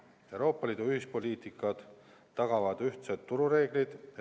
Euroopa Liidu ühised poliitikad tagavad ühtsed turureeglid.